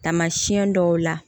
Taamasiyɛn dɔw la